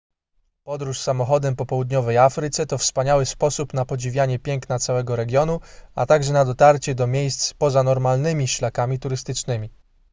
podróż samochodem po południowej afryce to wspaniały sposób na podziwianie piękna całego regionu a także na dotarcie do miejsc poza normalnymi szlakami turystycznymi